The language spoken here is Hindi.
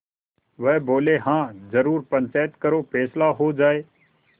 वह बोलेहाँ जरूर पंचायत करो फैसला हो जाय